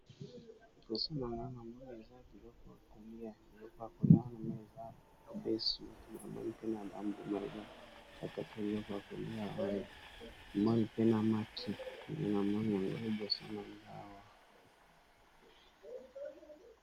Liboso na nga na moi eza biloko ya kolia biloko ya koni wana ma eza mobesu m emali pe na bambuma eza kaka te biloko ya kolia oyo emali pe na maki mkena mai yango eboso na ngawa.